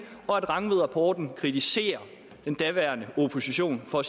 og at rangvidrapporten kritiserer den daværende opposition for